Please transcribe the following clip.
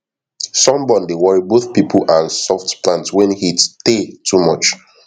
sunburn dey worry both pipo and soft plant wen heat tey too much